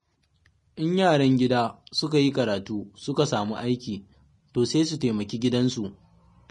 In yaran gida suka yi karatu suka samu aiki, to sai su taimaki gidansu.